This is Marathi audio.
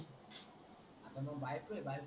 मग बायको आहे बायको